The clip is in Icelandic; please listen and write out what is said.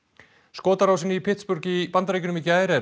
Pittsburgh í Bandaríkjunum í gær er